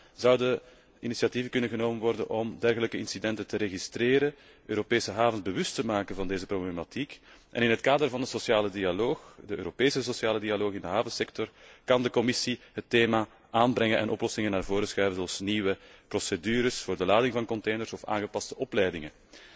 Met name zouden er initiatieven genomen kunnen worden om dergelijke incidenten te registeren, Europese havens bewust te maken van deze problematiek en in het kader van de sociale dialoog, de Europese sociale dialoog in de havensector, kan de Commissie het thema aansnijden en oplossingen voorstellen, zoals nieuwe procedures voor de lading van containers of aangepaste opleidingen.